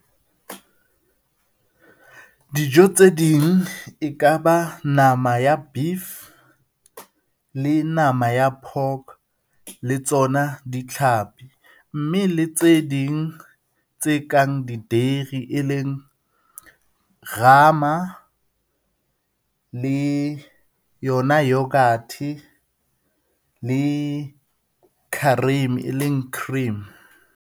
Dijo tse ding e ka ba nama ya beef le nama ya pork, le tsona ditlhapi, mme le tse ding tse kang di dairy rama le yona yoghurt le kharim e leng cream.